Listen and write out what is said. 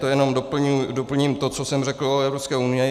To jenom doplním to, co jsem řekl o Evropské unii.